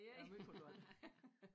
Jeg er måj kulturel